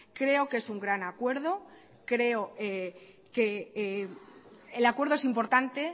creo que es un gran acuerdo creo que el acuerdo es importante